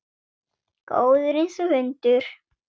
Góður einsog hundur.